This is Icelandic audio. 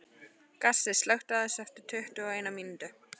Gassi, slökktu á þessu eftir tuttugu og eina mínútur.